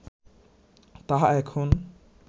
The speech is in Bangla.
তাহা এখন